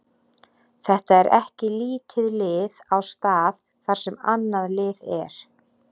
Þetta er ekki lítið lið á stað þar sem annað lið er.